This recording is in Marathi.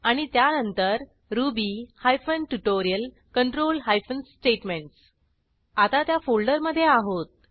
आणि त्यानंतर Ruby hyphen tutorial control hyphen statements आता त्या फोल्डरमधे आहोत